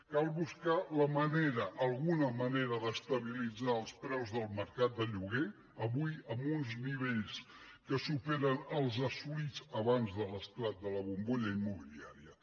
cal buscar la manera alguna manera d’estabilitzar els preus del mercat de lloguer avui en uns nivells que superen els assolits abans de l’esclat de la bombolla immobiliària